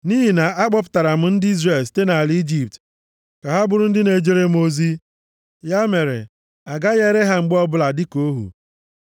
Nʼihi na a kpọpụtara m ndị Izrel site nʼala Ijipt ka ha bụrụ ndị na-ejere m ozi. Ya mere, a gaghị ere ha mgbe ọbụla dịka ohu.